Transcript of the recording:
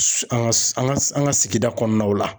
An ka sigida kɔnɔnaw la.